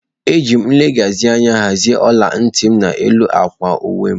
Ejiri m nlezianya hazie ola ntị m n'elu akwa uwe.